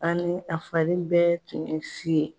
Ani a fari bɛɛ tun ye si ye.